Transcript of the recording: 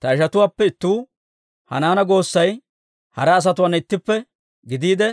Ta ishatuwaappe ittuu, Hanaana goossay hara asatuwaana ittippe gidiide,